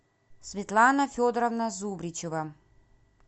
светлана федоровна зубричева